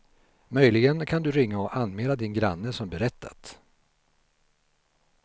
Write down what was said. Möjligen kan du ringa och anmäla din granne som berättat.